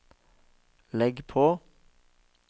legg på